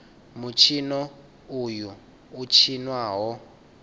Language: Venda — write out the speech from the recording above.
mutshino uyu u tshinwa ho